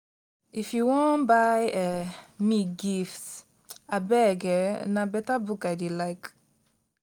if you wan buy um me gift abeg um na beta book i dey like.